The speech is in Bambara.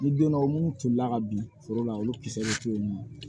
Ni donnaw munnu tolila ka bin foro la olu kisɛw ni